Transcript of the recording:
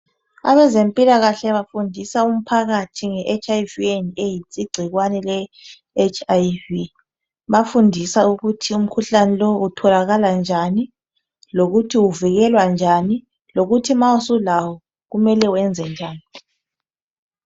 Abezempilakahle bafundisa umphakathi ngeHIV and AIDS.Igcikwane leHIV bafundisa ukuthi umkhuhlane lowu utholakala njani lokuthi uvikelwa njani lokuthi ma usulawo kumele wenze njani.